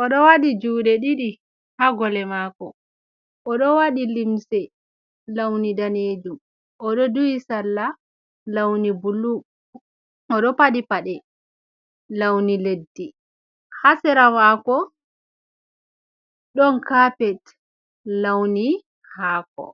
o ɗo waɗi juuɗe ɗiɗi haa gole maako.O waɗi limse lawni daneejum, duhi salla man bullu, o faɗi pade lawni leddi .Haa sera maako, ɗon kapet lawni haako.